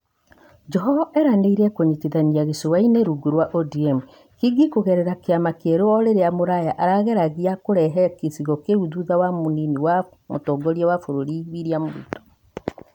Joho eranĩĩre kũnyitithania gĩcũa-inĩ rungu rwa ODM, Kingi kũgerera kĩama kĩerũ o rĩrĩa Mvurya arerĩgĩrĩria kũrehe gĩcigo kĩu thutha wa mũnini wa mũtongoria wa bũrũri William Ruto.